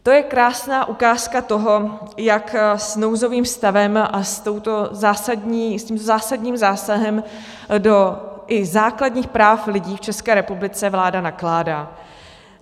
To je krásná ukázka toho, jak s nouzovým stavem a s tímto zásadním zásahem i do základních práv lidí v České republice vláda nakládá.